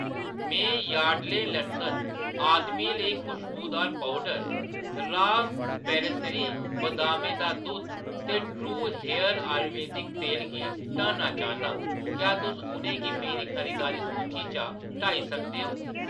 में Yardley London आदमियें लेई खुश्बोदार पौडर, रॉ प्रेसरी, बदामें दा दुद्ध ते ट्रू हेयर आयुर्वेदिक तेल गी हटाना चाह्‌न्नां, क्या तुस उʼनें गी मेरी खरीदारी सूची चा हटाई सकदे ओ?